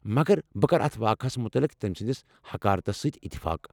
مگر ، بہٕ كرٕ اتھ واقعس متعلق تمۍ سٕنٛدِس حقارتس سۭتۍ اتفاق ۔